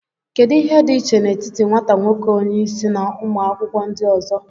Kedu ihe dị iche n'etiti nwata nwoke onye isi na ụmụ akwụkwọ ndị ọzọ